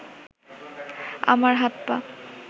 আমার হাত-পা